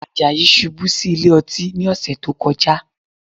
Àjàyí ṣubú sí ilé ọtí ní ọ̀sẹ̀ tó kọjá